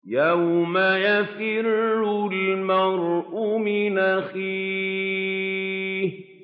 يَوْمَ يَفِرُّ الْمَرْءُ مِنْ أَخِيهِ